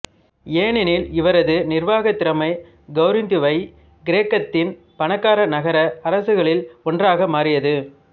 ஏனெனில் இவரது நிர்வாக திறமை கொரிந்துவை கிரேக்கத்தின் பணக்கார நகர அரசுகளில் ஒன்றாக மாற்றியது